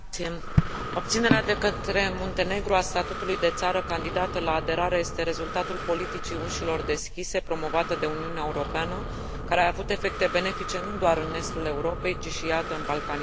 Obținerea de către Muntenegru a statutului de țară candidată la aderare este rezultatul politicii ușilor deschise promovată de Uniunea Europeană, care a avut efecte benefice nu doar în estul Europei, ci și, iată, în Balcanii de Vest.